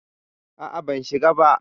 A'a, ban shiga ba.